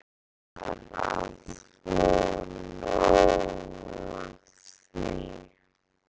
Ég var að fá nóg af því.